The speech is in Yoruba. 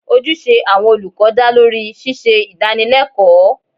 Ojúṣe àwọn olùkọ́ dá lórí ṣíṣe Ìdánilẹ́kọ̀ọ́